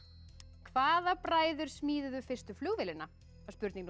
hvaða bræður smíðuðu fyrstu flugvélina var spurning númer